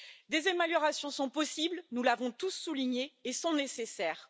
Des améliorations sont possibles, nous l'avons tous souligné, et elles sont nécessaires.